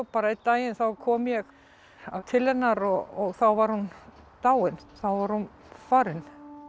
einn daginn kom ég til hennar og þá var hún dáin þá var hún farin